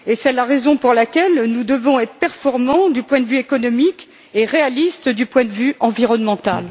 C'est la raison pour laquelle nous devons être performants du point de vue économique et réalistes du point de vue environnemental.